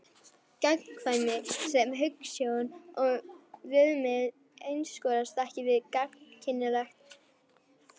Gagnkvæmni sem hugsjón og viðmið einskorðast ekki við gagnkynhneigt fólk.